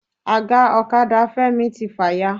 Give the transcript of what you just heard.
Aga ọ̀kadà Femi ti fàya.